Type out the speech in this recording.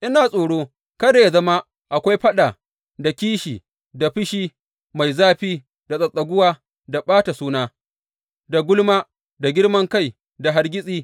Ina tsoro kada yă zama akwai faɗa, da kishi, da fushi mai zafi, da tsattsaguwa, da ɓata suna, da gulma, da girman kai, da hargitsi.